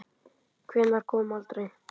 Hvenær kom aldrei.